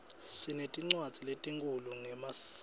sinetincwadzi lehkhuluma ngemaskco